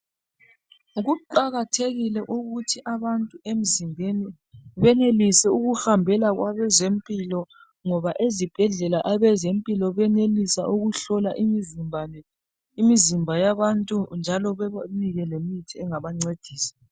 kuqakathekile ukuthi abantu emzimbeni benelisi ukuhambela kwezempilo ngoba ezibhedlela abazempilo benelis ukuhlola umzimba yabantu njalo bebanike lemithi engabancedisa